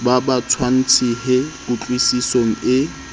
ba ba tshwasehe kutlwisisong e